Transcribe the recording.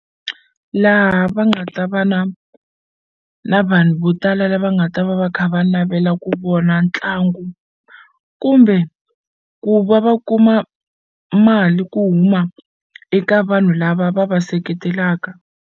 Laha va nga ta va na na vanhu vo tala lava nga ta va va kha va navela ku vona ntlangu kumbe ku va va kuma mali ku huma eka vanhu lava va va seketelaka.